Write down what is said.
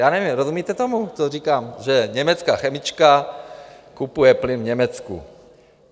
Já nevím, rozumíte tomu, co říkám, že německá chemička kupuje plyn v Německu?